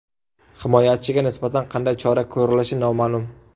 Himoyachiga nisbatan qanday chora ko‘rilishi noma’lum.